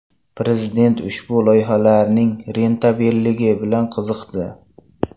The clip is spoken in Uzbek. Prezident ushbu loyihalarning rentabelligi bilan qiziqdi.